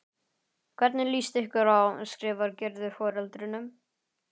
Hvernig líst ykkur á? skrifar Gerður foreldrunum.